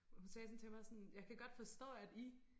Hun sagde sådan til mig sådan jeg kan godt forstå at I